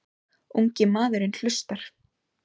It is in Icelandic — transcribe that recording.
Ungi maðurinn hlustar.